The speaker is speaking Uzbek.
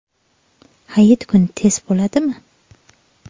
Hayit kuni test bo‘ladimi?.